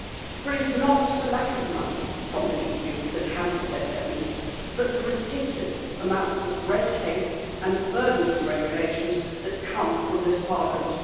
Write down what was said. For is not the lack of money from the EU that hampers SMEs, but the ridiculous amounts of red tape and burdensome regulations that come from this Parliament.